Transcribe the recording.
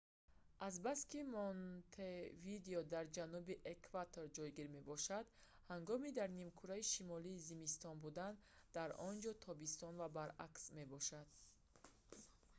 азбаски монтевидео дар ҷануби экватор ҷойгир мебошад ҳангоми дар нимкураи шимолӣ зимистон будан дар онҷо тобистон ва баръакс мебошад